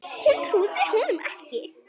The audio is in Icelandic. Hún trúði honum ekki.